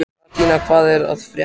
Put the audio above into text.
Gratíana, hvað er að frétta?